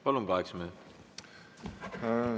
Palun, kaheksa minutit!